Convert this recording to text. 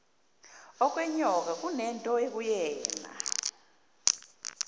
okwenyoka kunento ekuyena